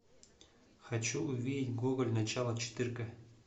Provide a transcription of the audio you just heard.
хочу увидеть гоголь начало четырка